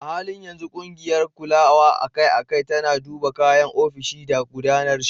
A halin yanzu, ƙungiyar kulawa akai-akai tana duba kayan ofishi da gudanar shi.